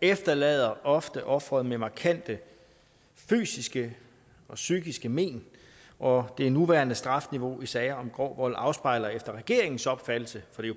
efterlader ofte offeret med markante fysiske og psykiske men og det nuværende strafniveau i sager om grov vold afspejler efter regeringens opfattelse for det